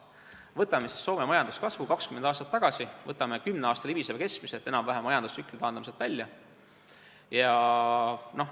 Võtame Soome majanduskasvu 20 aastat tagasi ja võtame 10 aasta libiseva keskmise, taandame enam-vähem ühe majandustsükli välja.